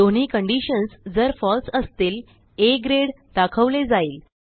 दोन्ही कंडिशन्स जर फळसे असतील आ ग्रेड दाखवले जाईल